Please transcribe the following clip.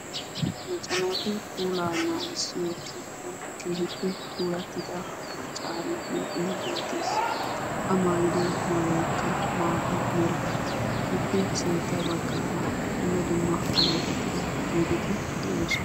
Macca naatu puulaa naagissiyo keettan keehippe puulattida maccaari huuphee beettes. A maayido maayoykka maata mera ippe sintta baggaara dumma dumma alleeqettida otdeti de'oosona.